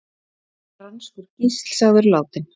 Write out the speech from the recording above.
Franskur gísl sagður látinn